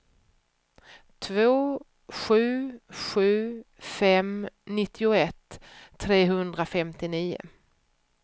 två sju sju fem nittioett trehundrafemtionio